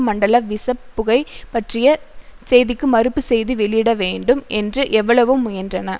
மண்டல விசப் புகை பற்றிய செய்திக்கு மறுப்பு செய்தி வெளியிட வேண்டும் என்று எவ்வளவோ முயன்றன